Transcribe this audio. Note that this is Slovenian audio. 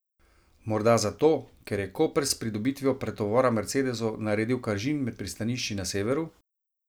Morda zato, ker je Koper s pridobitvijo pretovora mercedesov naredil kažin med pristanišči na severu?